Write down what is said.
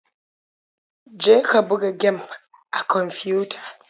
Je ka buga gem a kwamfiyuta.